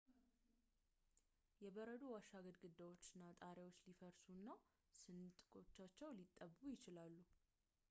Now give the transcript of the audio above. የበረዶ ዋሻ ግድግዳዎች እና ጣሪያዎች ሊፈርሱ እና ስንጥቆቻቸው ሊጠቡ ይችላሉ